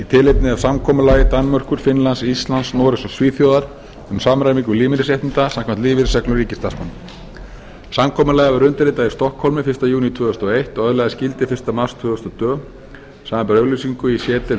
tilefni af samkomulagi danmerkur finnlands íslands noregs og svíþjóðar um samræmingu lífeyrisréttinda samkvæmt lífeyrisreglum ríkisstarfsmanna samkomulagið var undirritað í stokkhólmi fyrsta júní tvö þúsund og eins og öðlaðist gildi fyrsta mars tvö þúsund og tvö samanber auglýsingu í c deild